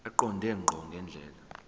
eqonde ngqo ngendlela